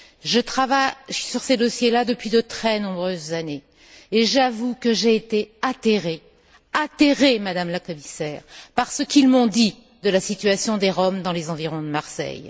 Je travaille sur ces dossiers là depuis de très nombreuses années et j'avoue que j'ai été atterrée, Madame la Commissaire, par ce qu'ils m'ont dit de la situation des Roms dans les environs de Marseille.